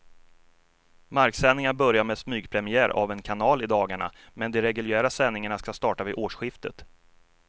Marksändningar börjar med smygpremiär av en kanal i dagarna, men de reguljära sändningarna ska starta vid årsskiftet.